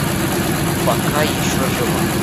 пока еще жива